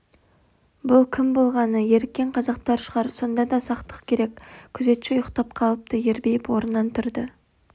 бұл кім болғаны еріккен қазақтар шығар сонда да сақтық керек күзетші ұйықтап қалыпты ербиіп орнынан тұрды